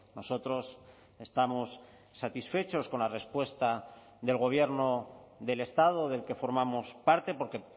nosotros estamos satisfechos con la respuesta del gobierno del estado del que formamos parte porque